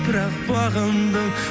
бірақ бағындың